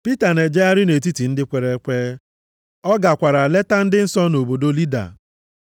Pita na-ejegharị nʼetiti ndị kwere ekwe, ọ gakwara leta ndị nsọ nọ nʼobodo Lida.